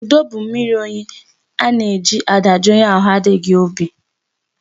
Ndo bụ mmiri oyi e ji adajụ onye ahụ adịghị obi.